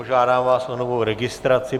Požádám vás o novou registraci.